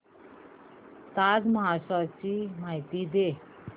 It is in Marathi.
ताज महोत्सव ची माहिती दे